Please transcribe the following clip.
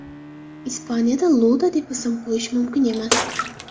Ispaniyadada Iuda deb ism qo‘yish mumkin emas.